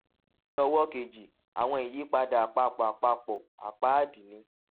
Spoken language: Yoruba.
ní ọwó kejì àwọn ìyípadà àpapọ àpapọ àpáàdì ni